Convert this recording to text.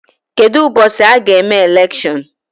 Kedụ ụbọchị a ga-eme elekshion?